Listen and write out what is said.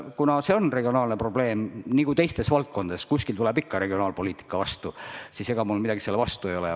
Kuna see on regionaalne probleem – nagu teisteski valdkondades, kuskil tuleb ikka regionaalpoliitika vastu –, siis ega mul midagi selle vastu ei ole.